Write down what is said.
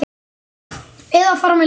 Eða fara með ljóð.